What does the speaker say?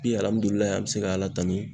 Bi alihamudulilayi an be se ka ala tanu